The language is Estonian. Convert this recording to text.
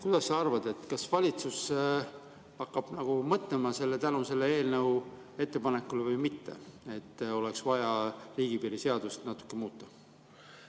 Kuidas sa arvad, kas valitsus hakkab mõtlema tänu sellele eelnõule, et oleks vaja riigipiiri seadust natukene muuta?